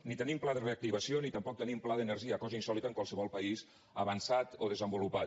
ni tenim pla de reactivació ni tampoc tenim pla d’energia cosa insòlita en qualsevol país avançat o desenvolupat